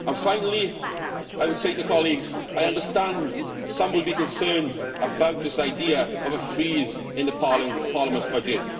Finally, I would say to colleagues that I understand some will be concerned about this idea of a freeze in the Parliament's budget.